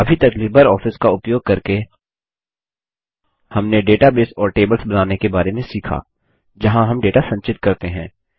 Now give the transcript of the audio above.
अभी तक LibreOffice का उपयोग करके हमने डेटाबेस और टेबल्स बनाने के बारे में सीखा जहाँ हम डेटा संचित करते हैं